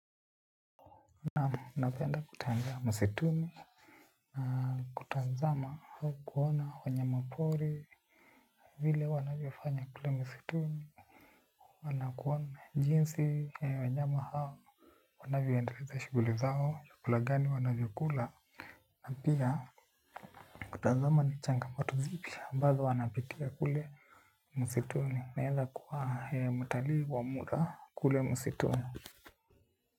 Naam, napenda kutembea msituni. Na kutazama au kuona wanyama pori. Vile wanavyo fanya kule msituni na kuona jinsi wanyama hao wanavyo endeleza shughuli zao vyakula gani wanavyo kula. Na pia kutazama ni changam zipi ambazo wanapitia kule msituni. Naweza kuwa mtalii wa muda kule msituni.